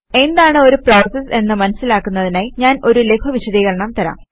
എന്താണ് ഒരു പ്രോസസ് എന്ന് മനസിലാക്കുന്നതിനായി ഞാൻ ഒരു ലഘു വിശദീകരണം തരാം